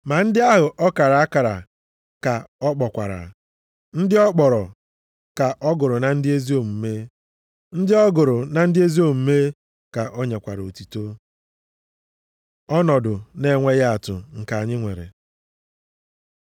Ma ndị ahụ ọ kara akara, ka ọ kpọkwara; ndị ọ kpọrọ, ka ọ gụrụ na ndị ezi omume; ndị ọ gụrụ na ndị ezi omume ka o nyekwara otuto. Ọnọdụ na-enweghị atụ nke anyị nwere